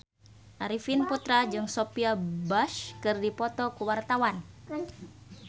Arifin Putra jeung Sophia Bush keur dipoto ku wartawan